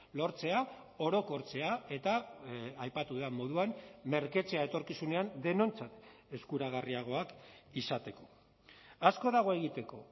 lortzea orokortzea eta aipatu dudan moduan merketzea etorkizunean denontzat eskuragarriagoak izateko asko dago egiteko